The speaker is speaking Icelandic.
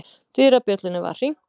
Dyrabjöllunni var hringt.